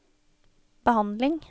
behandling